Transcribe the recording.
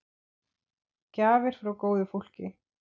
Gjafir frá góðu fólki.